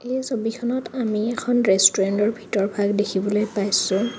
এই ছবিখনত আমি এখন ৰেষ্টোৰেন্তৰ ভিতৰ ভাগ দেখিবলৈ পাইছোঁ।